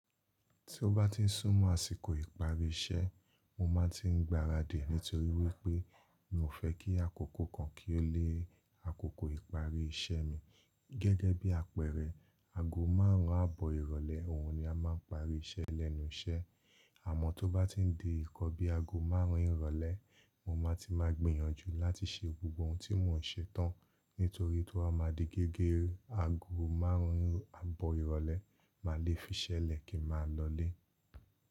Tí ó bá ti ń súnmọ́ àsìkò ìparí iṣẹ́, mo máa ń ti gbaradì nítorí wípé mi ò fẹ́ kí àkókò kan kí ó lé àkókò ìparí iṣẹ́ mi. Gẹ́gẹ́ bí àpẹẹrẹ, ago márùn-ún àbọ̀ ìrọ̀lẹ́ òun ni a máa ń parí iṣẹ́ lẹ́nu iṣẹ́. Àmọ́ tó bá ti ń di ìnkan bi ago márùn-ún ìrọ̀lẹ́, mo máa ti máa gbìyànjú láti ṣe gbogbo ohun tí mò ń ṣe tán nítorí tó ba máa di gẹ́gẹ́ ago márùn-ún àbọ̀ ìrọ̀lẹ́ máa lé fi ṣẹlẹ̀ kí n máa lọlé.